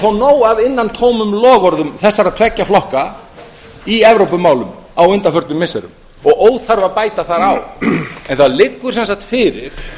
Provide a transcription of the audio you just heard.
fá nóg af innantómum loforðum þessara tveggja flokka í evrópumálum á undanförnum missirum og óþarfi að bæta þar á en það liggur sem sagt fyrir